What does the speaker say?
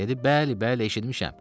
Dedi bəli, bəli, eşitmişəm.